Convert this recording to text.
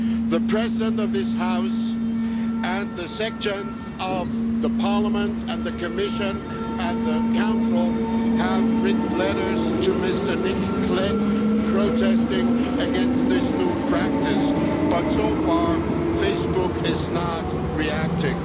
The President of this House and sections of the Parliament and the Commission and the Council have written letters to Mr Nick Clegg protesting against this new practice, but so far Facebook is not reacting.